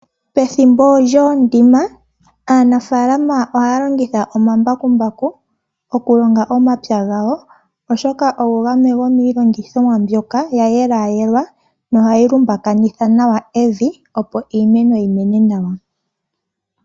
Pethimbo lyokulonga aanafaalama ohaya longitha omambakumbaku okulonga omapya gawo oshoka ogo gamwe gomiilongithomwa hayi yelaayelwa nohayi vundakanitha nawa evi opo iimeno yimene nawa.